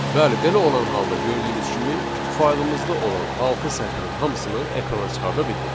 Bəli, belə olan halda gördüyünüz kimi faylımızda olan altı sətrin hamısını ekrana çıxarda bildik.